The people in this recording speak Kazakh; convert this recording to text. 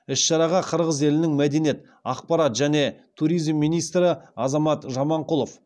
іс шараға қырғыз елінің мәдениет ақпарат және туризм министрі азамат жаманқұлов